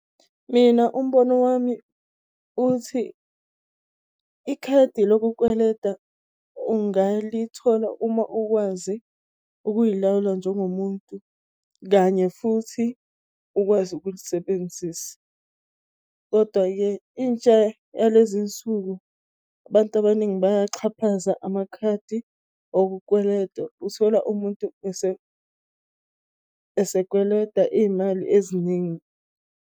Mina umbono wami uthi ikhadi lokukweleta ungalithola uma ukwazi ukuy'lawula njengomuntu kanye futhi ukwazi ukulisebenzisa. Kodwa-ke intsha yalezinsuku abantu abaningi bayaxhaphaza. Amakhadi okukweleta, uthola umuntu esekweleta iy'mali eziningi.